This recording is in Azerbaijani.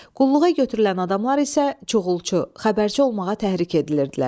Qulluğa götürülən adamlar isə çoxulçu, xəbərçi olmağa təhrik edilirdilər.